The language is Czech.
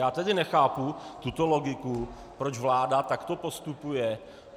Já tedy nechápu tuto logiku, proč vláda takto postupuje.